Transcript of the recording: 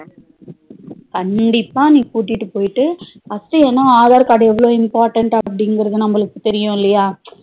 கண்டிப்பா நீ கூட்டிட்டு போயிட்டு first ஏனா aadhar card எவ்ளோ important அப்டின்குறது நம்மளுக்கு தெரியும் இல்லையா